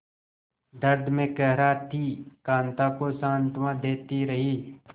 दर्द में कराहती कांता को सांत्वना देती रही